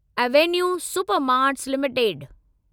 Avenue Supermarts limited